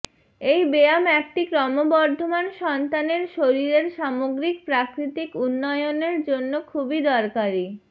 এই ব্যায়াম একটি ক্রমবর্ধমান সন্তানের শরীরের সামগ্রিক প্রাকৃতিক উন্নয়নের জন্য খুবই দরকারী